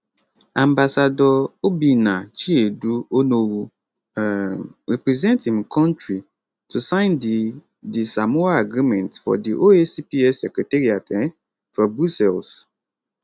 ambassador obinna chiedu onowu um represent im kontri to sign di di samoa agreement for di oacps secretariat um for brussels